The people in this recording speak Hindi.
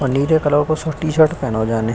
और नीले कलर का टी-शर्ट पहनो हैं जाने --